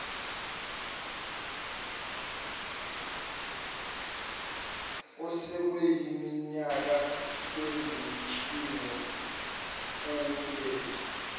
osekuyiminyaka bengumtshingo ubethwa